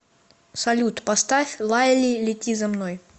салют поставь лайли лети за мной